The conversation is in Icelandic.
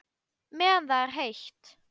Meðan það er heitt.